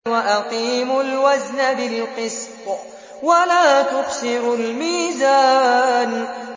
وَأَقِيمُوا الْوَزْنَ بِالْقِسْطِ وَلَا تُخْسِرُوا الْمِيزَانَ